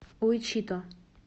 уичито